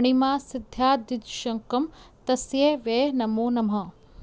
अणिमासिद्ध्यादिदशकं तस्यै वै नमो नमः